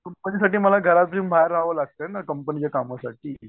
कंपनीसाठी मला घरातून बाहेर रहावं लागतंय ना कंपनीच्या कामासाठी.